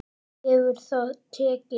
Hefur það tekist?